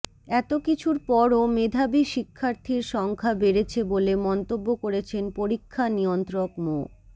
এতকিছুর পরও মেধাবী শিক্ষার্থীর সংখ্যা বেড়েছে বলে মন্তব্য করেছেন পরীক্ষা নিয়ন্ত্রক মো